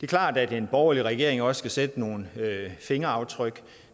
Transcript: klart at en borgerlig regering også skal sætte nogle fingeraftryk